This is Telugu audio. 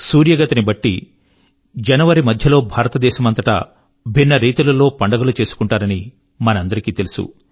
సూర్య గతి ని బట్టి జనవరి మధ్య లో భారతమంతటా భిన్న ప్రకారములైన పండుగలు చేసుకుంటారని మనకందరి కీ తెలుసు